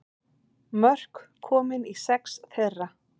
Mörk komin í sex þeirra